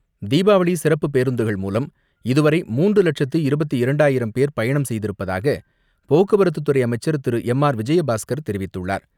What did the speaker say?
தீபாவளி சிறப்புப் பேருந்துகள் மூலம் இதுவரை மூன்று லட்சத்து இருபத்து இரண்டாயிரம் பேர் பயணம் செய்திருப்பதாக போக்குவரத்துத் துறை அமைச்சர் திரு எம் ஆர் விஜயபாஸ்கர் தெரிவித்துள்ளார்.